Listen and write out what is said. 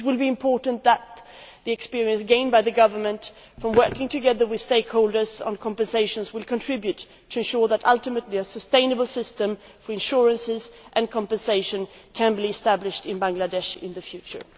Plaza. It is important that the experience gained by the government from working with stakeholders on compensation contributes to ensuring that ultimately a sustainable system for insurance and compensation can be established in Bangladesh in the future.